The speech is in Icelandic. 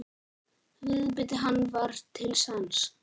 Viðbiti hann var til sanns.